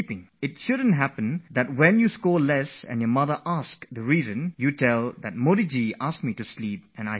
It should not be that you score low marks and when your mother asks you why you have fared so badly, you reply that it's because Modiji had asked us to sleep, so I dozed off